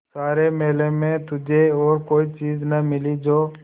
सारे मेले में तुझे और कोई चीज़ न मिली जो